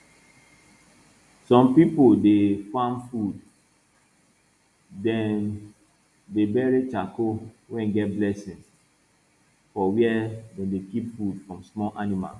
some pipo dey farm food dem dey bury charcoal wey get blessing for where dem dey keep food from small animals